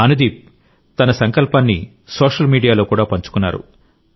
అనుదీప్ తన సంకల్పాన్ని సోషల్ మీడియాలో కూడా పంచుకున్నారు